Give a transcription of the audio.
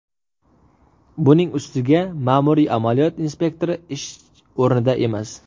Buning ustiga ma’muriy amaliyot inspektori ish o‘rnida emas.